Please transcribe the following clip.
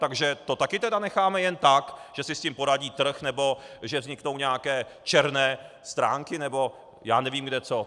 Takže to také tedy necháme jen tak, že si s tím poradí trh, nebo že vzniknou nějaké černé stránky, nebo já nevím kde co.